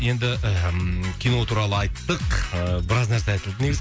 енді мхм кино туралы айттық ыыы біраз нәрсе айтылды негізі